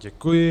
Děkuji.